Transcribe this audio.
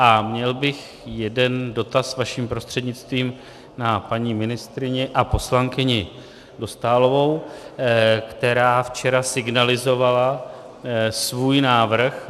A měl bych jeden dotaz vaším prostřednictvím na paní ministryni a poslankyni Dostálovou, která včera signalizovala svůj návrh.